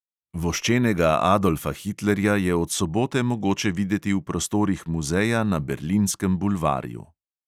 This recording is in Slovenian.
Voščenega adolfa hitlerja je od sobote mogoče videti v prostorih muzeja na berlinskem bulvarju.